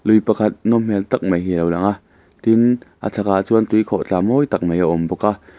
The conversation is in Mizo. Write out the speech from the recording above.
lui pakhat nawm hmel tak mai hi alo lang a tin a chhakah chuan tui khawih thla mawi tak mai hi a awm bawk a.